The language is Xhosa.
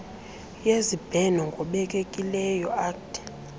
yezibheno ngobekekileyo uct